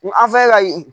N an filɛ ka yen